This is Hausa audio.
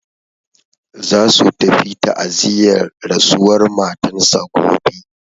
Za su tafi ta'aziyar rasuwar matan sa gobe.